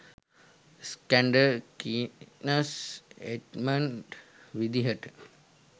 Iskander Keynes Edmund විදිහට